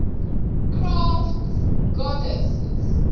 crafts goddesses